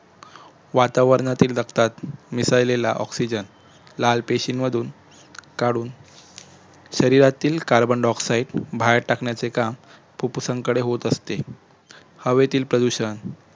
वातावरणातील रक्तात मिसळलेला ऑक्सिजन लाल पेशींमधून काढून शरीरातील carbondioxide बाहेर टाकण्याचे काम फुप्फुसाकडे होत असते हवेतील प्रदूषण